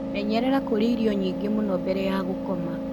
Menyerera kũrĩa irio nyingĩ mũno mbere ya gũkoma.